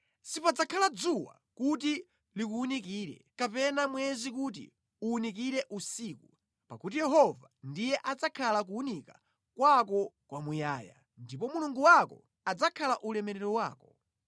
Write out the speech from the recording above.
Sipadzakhala dzuwa kuti likuwunikire, kapena mwezi kuti uwunikire usiku, pakuti Yehova ndiye adzakhale kuwunika kwako kwa muyaya, ndipo Mulungu wako adzakhala ulemerero wako.